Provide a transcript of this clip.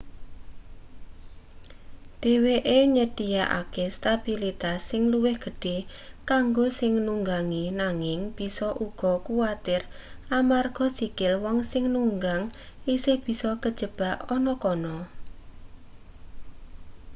dheweke nyedhiyakake stabilitas sing luwih gedhe kanggo sing nunggangi nanging bisa uga kuwatir amarga sikil wong sing nunggang isih bisa kajebak ana kana